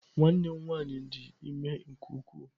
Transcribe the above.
Nwanne m nwanyị dị ime nke ukwuu.